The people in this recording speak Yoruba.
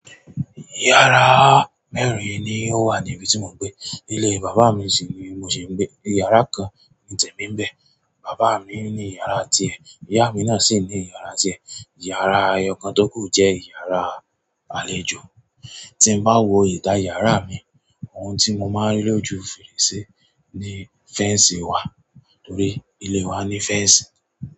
Yàrá mẹ́rin ni ó wà ní ibi tí mò n gbé. Ilé bàbá mi sì ni mo ṣì ń gbé. Yàrá kan ni tèmi ń bẹ̀. Bàbá mi ní iyàrá tiẹ̀, ìyá mi náà sì ní iyàrá tiẹ̀. Iyàrá ẹyọ̀kan tó kù jẹ́ iyàrá àlejò. Tí n bá wo ìta yàrá mi, ohun tí mo máa n rí lójú fèrèsé ni féǹsì wà torí ilé wa ní féǹsì.